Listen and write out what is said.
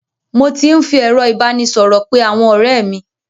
Mo ti ń fi ẹ̀rọ ìbánisọ̀rọ̀ pé àwọn ọ̀rẹ́ mi.